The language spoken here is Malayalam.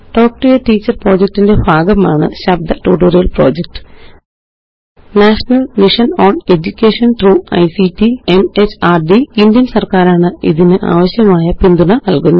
talk to a teacher project ന്റെ ഭാഗമാണ് ശബ്ദ tutorial project national mission on education through ictമെഹർദ് ഇന്ത്യന് സര്ക്കാരാണ് ഇതിനാവശ്യമായ പിന്തുണ നല്കുന്നത്